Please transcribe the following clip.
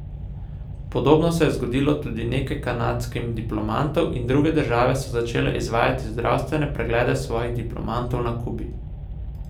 Podobno se je zgodilo tudi nekaj kanadskim diplomatom in druge države so začele izvajati zdravstvene preglede svojih diplomatov na Kubi.